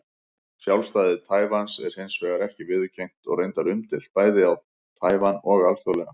Sjálfstæði Taívans er hins vegar ekki viðurkennt og reyndar umdeilt, bæði á Taívan og alþjóðlega.